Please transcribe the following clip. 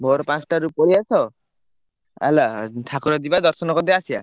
ଭୋର ପାଞ୍ଚଟାରୁ ପଳେଇଆସ। ହେଲା ଠାକୁର ଯିବା ଦର୍ଶନ କରିଦେଇ ଆସିବା।